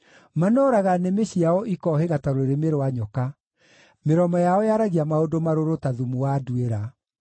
Manooraga nĩmĩ ciao ikohĩga ta rũrĩmĩ rwa nyoka; mĩromo yao yaragia maũndũ marũrũ ta thumu wa nduĩra.